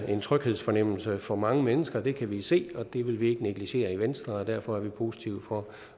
en tryghedsfornemmelse for mange mennesker det kan vi se og det vil vi ikke negligere i venstre og derfor er vi positive over